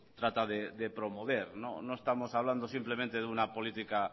trata de promover no estamos hablando simplemente de una política